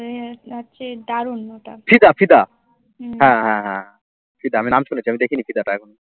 ফিদা ফিদা হ্যাঁ হ্যাঁ হ্যাঁ ফিদা আমি নাম শুনেছি আমি দেখি নি ফিদাটা এখনো